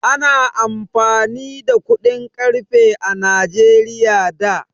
Ana amfani da kuɗin ƙarfe a Najeriya da.